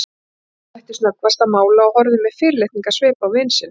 Örn hætti snöggvast að mála og horfði með fyrirlitningarsvip á vin sinn.